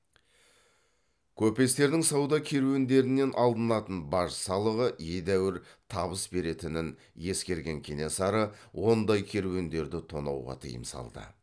көпестердің сауда керуендерінен алынатын баж салығы едәуір табыс беретінін ескерген кенесары ондай керуендерді тонауға тыйым салды